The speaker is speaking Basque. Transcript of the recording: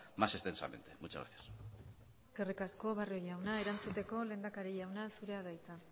más extensamente muchas gracias eskerrik asko barrio jauna erantzuteko lehendakari jauna zurea da hitza